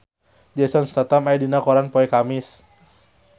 Jason Statham aya dina koran poe Kemis